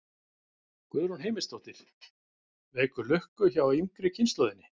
Guðrún Heimisdóttir: Vekur lukku hjá yngri kynslóðinni?